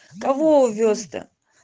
кого увёз то